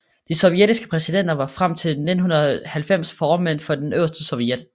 De sovjetiske præsidenter var frem til 1990 formænd for den øverste sovjet